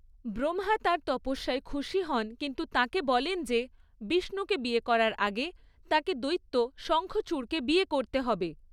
ব্রহ্মা তাঁর তপস্যায় খুশি হন কিন্তু তাঁকে বলেন যে বিষ্ণুকে বিয়ে করার আগে তাঁকে দৈত্য শঙ্খচূড়কে বিয়ে করতে হবে।